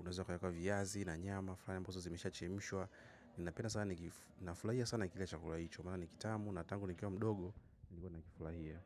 Unaweza ukaeka viazi na nyama. Flani ambazo zimeshachemshwa. Ninapenda sana nafurahia sana chakula hicho. Maana ni kitamu na tangu nikiwa mdogo. Hivo nakifulahia.